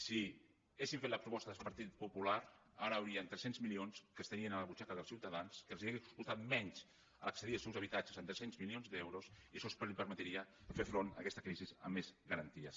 si haguessin fet la proposta del partit popular ara hi haurien tres cents milions que estarien a la butxaca dels ciutadans a qui els hauria costat menys accedir als seus habitatges amb tres cents milions d’euros i això els per metria fer front a aquesta crisi amb més garanties